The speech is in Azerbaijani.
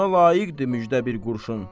Ona layiqdir müjdə bir qurşun.